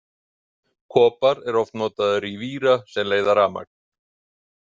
Kopar er oft notaður í víra sem leiða rafmagn.